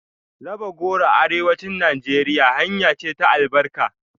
Raba goro a Arewacin Najeriya hanya ce ta albarka.